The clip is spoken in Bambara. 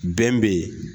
Bɛn bɛ yen